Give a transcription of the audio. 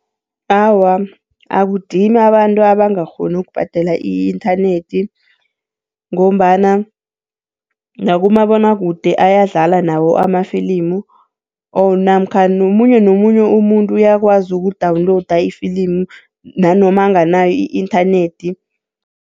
Awa, akudimi abantu abangakghoni ukubhadela i-inthanethi, ngombana nakumabonwakude ayadlala nawo amafilimu, namkha nomunye nomunye umuntu uyakwazi ukudawunilowuda ifilimu nanoma onganayo i-inthanethi.